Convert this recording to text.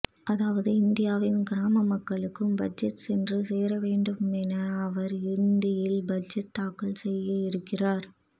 அதாவது இந்தியாவின் கிராம மக்களுக்கும் பட்ஜெட் சென்று சேர வேண்டும் என அவர் இந்தியில் பட்ஜெட் தாக்கல் செய்ய இருக்கிறார்